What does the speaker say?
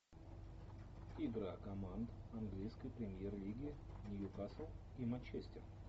игра команд английской премьер лиги ньюкасл и манчестер